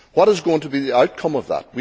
What is going to be the outcome of that?